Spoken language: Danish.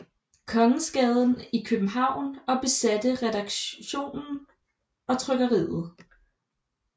Kongensgade i København og besatte redaktionen og trykkeriet